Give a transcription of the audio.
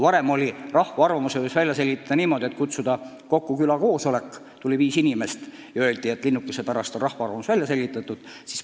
Varem võis rahva arvamuse välja selgitada niimoodi, et kutsuti linnukese pärast kokku külakoosolek, kohale tuli viis inimest ja pärast öeldi, et rahva arvamus on välja selgitatud.